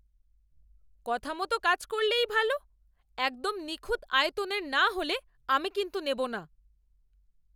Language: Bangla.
কথা মতো কাজ করলেই ভালো। একদম নিখুঁত আয়তনের না হলে আমি কিন্তু নেবো না।